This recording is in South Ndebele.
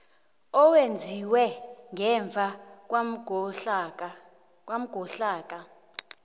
owenziwe ngemva kwangomhlaka